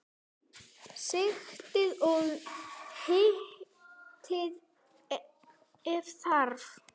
Sigtið og hitið ef þarf.